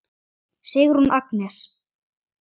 Sigrún Agnes.